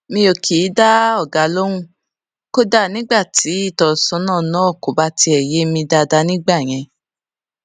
mi ò kì í dá ọga lóhùn kódà nígbà tí ìtósónà náà kò bá tiè yé mi dáadáa nígbà yẹn